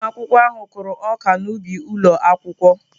Ụmụ akwụkwọ ahụ kụrụ ọka n'ubi ụlọ akwụkwọ.